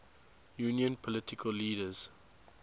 union political leaders